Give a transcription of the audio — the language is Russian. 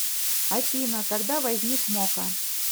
афина когда возник мока